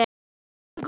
Er þetta ekki gott?